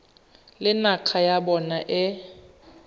le naga ya bona e